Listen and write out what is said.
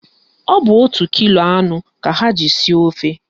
Ọ bụ otu kilo anụ ka ha ji sie ofe